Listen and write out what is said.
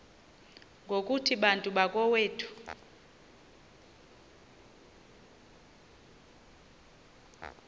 ngokuthi bantu bakowethu